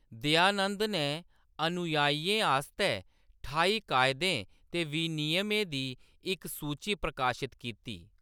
दयानंद नै अनुयायियें आस्तै ठाई कायदें ते विनियमें दी इक सूची प्रकाशत कीती।